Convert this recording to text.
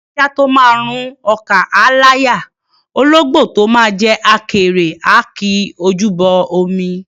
Ajá tó máa rún ọkà á láyà; ológbò tó máa jẹ àkèré á ki ojú bọ omi.